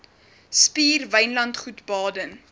spier wynlandgoed baden